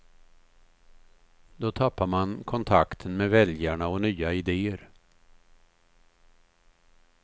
Då tappar man kontakten med väljarna och nya idéer.